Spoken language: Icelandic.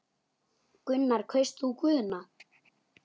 Gunnar: Kaust þú Guðna?